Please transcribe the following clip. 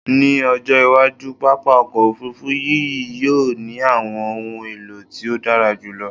Ni ojo iwaju, papa ọkọ ofurufu yii yoo ni awọn ohun elo ti o dara julọ